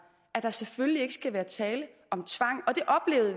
at der selvfølgelig ikke skal være tale om tvang